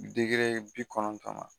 Degere bi kɔnɔntɔn na